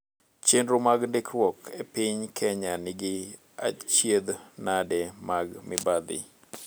Chenro mag ndikruok epiny Kenya nigi achiedh nade mag mibadhi.